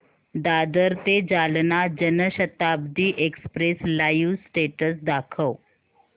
दादर ते Jalna Janshatabdi express live status दाखव